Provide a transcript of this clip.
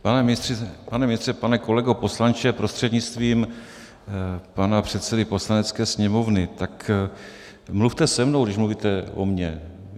Pane ministře, pane kolego poslanče prostřednictvím pana předsedy Poslanecké sněmovny, tak mluvte se mnou, když mluvíte o mně.